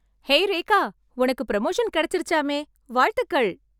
Hey Rekha, உனக்கு promotion கெடைச்சிருச்சாமே... வாழ்த்துகள்.